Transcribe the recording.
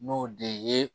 N'o de ye